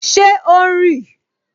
Ṣé o ń rì?